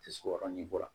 Tɛ se o yɔrɔnin dɔ la